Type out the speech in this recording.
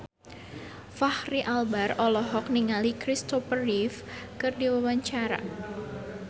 Fachri Albar olohok ningali Kristopher Reeve keur diwawancara